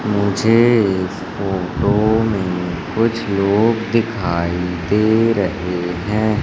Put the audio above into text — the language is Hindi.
मुझे इस फोटो में कुछ लोग दिखाइ दे रहे है।